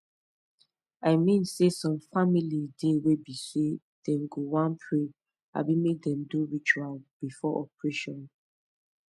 i mean saysome family dey wey be say dem go wan pray abi make dem do ritual before operation